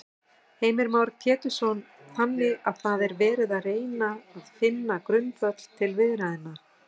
Heimir Már Pétursson: Þannig að það er verið að reyna finna grundvöll til viðræðna?